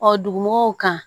Ɔ dugumɔgɔw kan